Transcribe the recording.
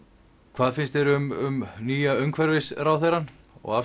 hvað finnst þér um nýja umhverfisráðherrann og